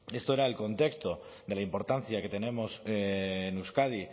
esto era el contexto de la importancia que tenemos en euskadi